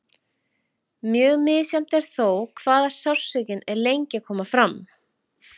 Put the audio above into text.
Mjög misjafnt er þó hvað sársaukinn er lengi að koma fram.